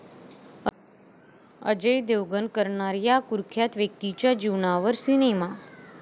अजय देवगण करणार या कुख्यात व्यक्तीच्या जीवनावर सिनेमा